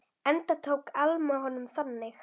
Enda tók Alma honum þannig.